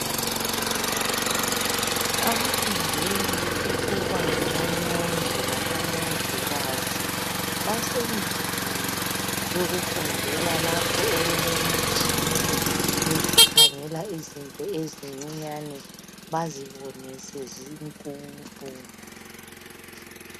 Abafundela ukuba ngomongi labomongikazi basendlini yokufundela lapho okulemitshina yokukhangela izinto ezincinyane bazibone sezinkulu.